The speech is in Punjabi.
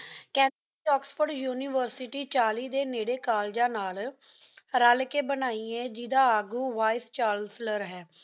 ਕੈਥੋਲਿਕ ਓਕ੍ਸ੍ਫੋਰਡ ਉਨਿਵੇਰ੍ਸਿਟੀ ਚਾਲੀ ਡੀ ਨੇਰੀ ਕੋਲ੍ਲੇਗਾਂ ਨਾਲ ਰਲ ਕ ਬਣਾਈ ਆਯ ਜੇਦਾ ਆਗੂ ਵੀਏਸ ਚਾਨਸਲਾਰ ਹੈ